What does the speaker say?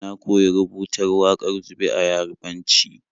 Na koyi rubutar wakar zube a Yarabanci.